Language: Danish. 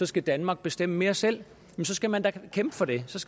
skal danmark bestemme mere selv så skal man da kæmpe for det